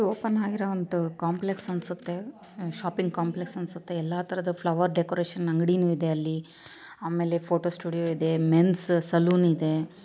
ಇದು ಒಂದು ಓಪನ್ ಆಗಿರುವ ಕಾಂಪ್ಲೆಕ್ಸ್ ಅನ್ಸುತ್ತೆ ಶಾಪಿಂಗ್ ಕಾಂಪ್ಲೆಕ್ಸ್ ಅನ್ಸುತ್ತೆ ಎಲ್ಲಾ ತರಹದ ಫ್ಲವರ್ ಡೆಕೋರೇಷನ್ ಅಂಗಡಿನೇ ಇದೆ ಅಲ್ಲಿ ಆಮೇಲೆ ಫೋಟೋ ಸ್ಟುಡಿಯೋ ಇದೆ ಮೆನ್ಸ್ ಸಲೂನ್ ಇದೆ .